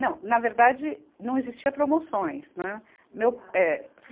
Não, na verdade, não existia promoções, né. Meu, eh